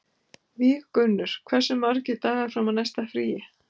Víggunnur, hversu margir dagar fram að næsta fríi?